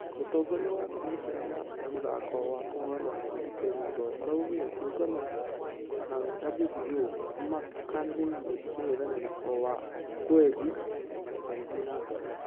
Mũtongoria wa kamiseni ya mũthako wa kũhũrana ngundi kenya ndolo araugire kĩũngano na wbo nĩmakaanĩrĩra mũngethanĩri wa okwiri magĩthie na mbere.